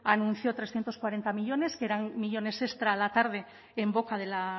anunció trescientos cuarenta millónes que eran millónes extra a la tarde en boca de la